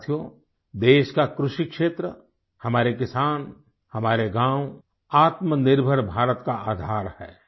साथियो देश का कृषि क्षेत्र हमारे किसान हमारे गाँव आत्मनिर्भर भारत का आधार है